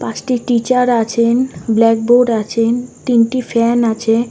পাঁচটি টিচার আছেন blackboard আছেন তিনটি ফ্যান আছে।